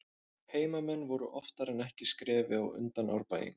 Heimamenn voru oftar en ekki skrefi á undan Árbæingum.